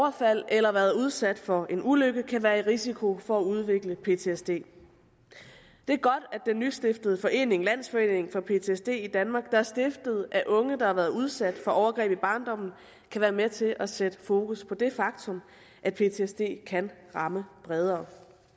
eller har været udsat for en ulykke kan være i risiko for at udvikle ptsd det er godt at den nystiftede forening landsforeningen for ptsd i danmark der er stiftet af unge der har været udsat for overgreb i barndommen kan være med til at sætte fokus på det faktum at ptsd kan ramme bredere